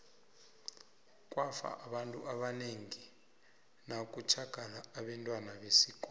kwafa abantu abanengi ngo nakutjhagala abentwana besikolo